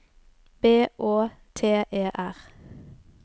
B Å T E R